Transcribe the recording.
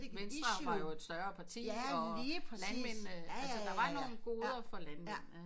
Venstre var jo et større parti og landmændene altså der var nogle goder for landmændene